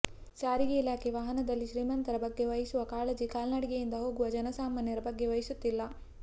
ಸಾರಿಗೆ ಇಲಾಖೆ ವಾಹನದಲ್ಲಿ ಶ್ರೀಮಂತರ ಬಗ್ಗೆ ವಹಿಸುವ ಕಾಳಜಿ ಕಾಲ್ನಡಿಗೆಯಿಂದ ಹೋಗುವ ಜನಸಾಮಾನ್ಯರ ಬಗ್ಗೆ ವಹಿಸುತ್ತಿಲ್ಲ